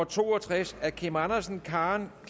to og tres af kim andersen karen